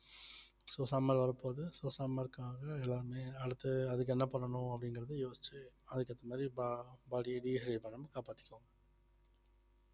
so summer வரப்போகுது so summer க்காக எல்லாமே அடுத்து அதுக்கு என்ன பண்ணணும் அப்படிங்கிறதை யோசிச்சு அதுக்கு ஏத்த மாதிரி bo~ body அ dehy~ பண்ணனும் காப்பாத்திக்கோங்க